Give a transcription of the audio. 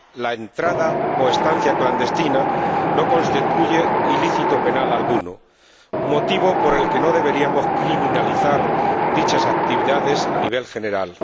la entrada o estancia clandestina no constituye ilícito penal alguno, motivo por el que no deberíamos criminalizar dichas actividades a nivel general.